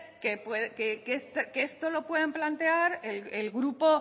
que esto lo pueden plantear el grupo